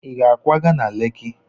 Ị ga-akwaga na Leki?